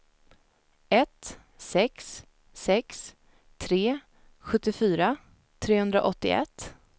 ett sex sex tre sjuttiofyra trehundraåttioett